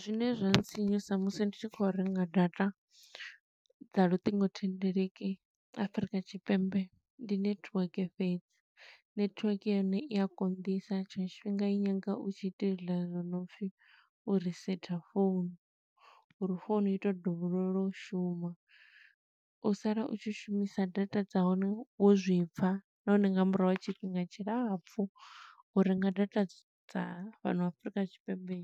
Zwine zwa ntsinyusa musi ndi tshi khou renga data, dza luṱingothendeleki Afrika Tshipembe, ndi network fhedzi. Network ya hone i a konḓisa, tshiṅwe tshifhinga i nyaga u tshi ita hezwiḽa zwo no pfi u risetha phone, uri founu i to dovholola u shuma. U sala u tshi shumisa data dza hone wo zwi pfa, nahone nga murahu ha tshifhinga tshilapfu. U renga data dza fhano Afrika Tshipembe,